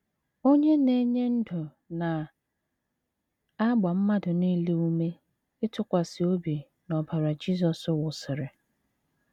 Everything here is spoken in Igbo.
Onye Na - enye Ndụ na - agba mmadụ nile ume ịtụkwasị obi n’ọbara Jisọs wụsịrị.